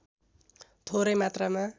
थोरै मात्रामा